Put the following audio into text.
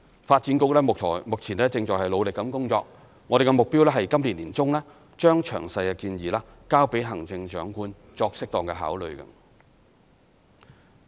發展局目前正努力工作，我們的目標是今年年中將詳細建議交給行政長官作適當考慮。